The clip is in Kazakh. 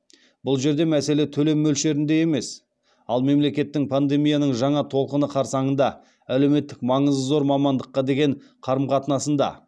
бұл жерде мәселе төлем мөлшерінде де емес ал мемлекеттің пандемияның жаңа толқыны қарсаңында әлеуметтік маңызы зор мамандыққа деген қарым қатынасында